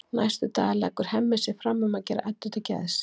Næstu daga leggur Hemmi sig fram um að gera Eddu til geðs.